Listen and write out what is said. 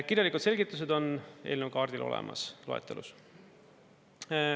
Kirjalikud selgitused on eelnõu kaardil olemas loetelus.